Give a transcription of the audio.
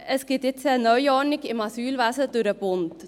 Es gibt nun eine Neuordnung im Asylwesen durch den Bund.